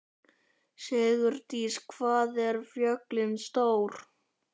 Sigurdís, hvað er jörðin stór?